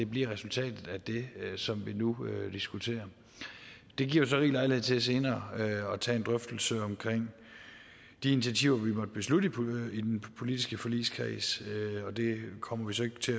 bliver resultatet af det som vi nu diskuterer det giver jo så rig lejlighed til senere at tage en drøftelse omkring de initiativer vi måtte beslutte i den politiske forligskreds og det kommer vi så ikke til